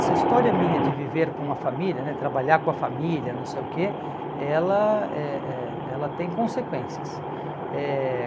Essa história minha de viver com a família, né, trabalhar com a família, não sei o quê, ela eh eh ela tem consequências. Eh